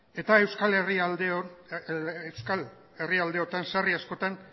eta euskal herrialdehorretan sarri askotan